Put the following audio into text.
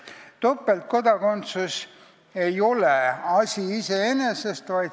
Topeltkodakondsus ei ole asi iseeneses.